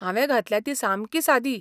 हांवें घातल्या ती सामकी सादी.